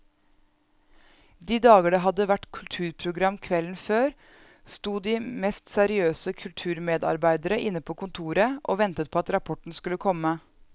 De dager det hadde vært kulturprogram kvelden før, sto de mest seriøse kulturmedarbeidere inne på kontoret og ventet på at rapporten skulle komme.